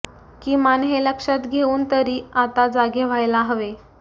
किमान हे लक्षात घेऊन तरी आता जागे व्हायला हवे